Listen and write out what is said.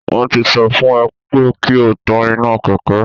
Wọ́n tí sọ fún ẹ pé kí o tán iná Kẹ̀kẹ́